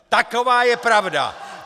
Taková je pravda!